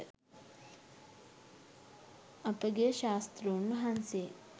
අපගේ ශාස්තෘන් වහන්සේ